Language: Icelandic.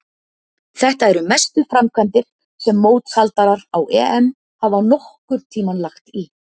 Þetta eru mestu framkvæmdir sem mótshaldarar á EM hafa nokkurn tímann lagt í.